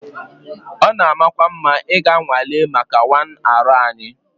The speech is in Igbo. It is good to go for medical tests